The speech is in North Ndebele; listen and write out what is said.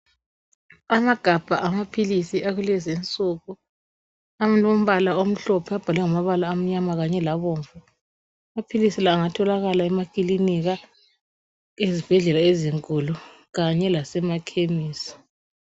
Amagabha amaphilisi akulezi nsuku alombala omhlophe abhalwe ngamabala amnyama kanye labomvu. Amaphilisi la angatholakala emakilinika, ezibhedlela ezinkulu kanye lasemakhemisi.